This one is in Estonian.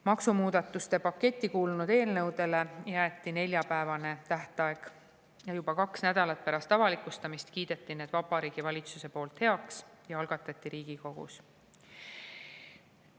Maksumuudatuste paketti kuulunud eelnõudele jäeti neljapäevane tähtaeg ning juba kaks nädalat pärast avalikustamist kiideti need Vabariigi Valitsuses heaks ja algatati Riigikogus.